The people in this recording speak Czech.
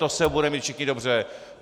To se budeme mít všichni dobře.